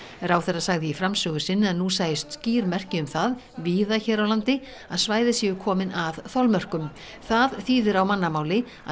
ráðherra sagði í framsögu sinni að nú sæjust skýr merki um það víða hér á landi að svæði séu komin að þolmörkum það þýði á mannamáli að